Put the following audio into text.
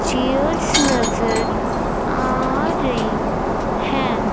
Chairs नजर आ रही हैं।